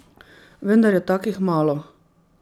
Vendar je takih malo.